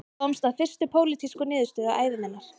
Ég komst að fyrstu pólitísku niðurstöðu ævi minnar